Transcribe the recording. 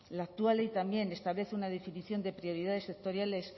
la actual ley también establece una definición de prioridades sectoriales